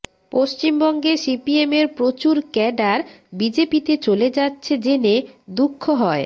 পশ্চিমবঙ্গে সিপিএমের প্রচুর ক্যাডার বিজেপিতে চলে যাচ্ছে জেনে দুঃখ হয়